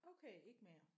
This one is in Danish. Okay ikke mere